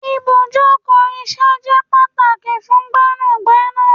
Ibùjókòó isẹ je pàtàkì fún Gbẹ́nàgbẹ́nà